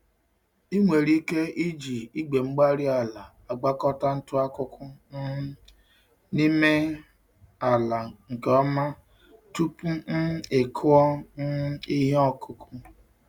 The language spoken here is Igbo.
Ị nwere ike iji igwe-mgbárí-ala gwakọta ntụ-akụkụ um n'ime ala nke ọma tupu um ị kụọ um ihe ọkụkụ.